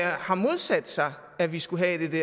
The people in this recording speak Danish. har modsat sig at vi skulle have det